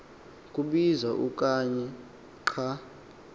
kubizwa okanye xa